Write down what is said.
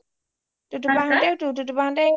টোটো বা হতে টোটো বা হতে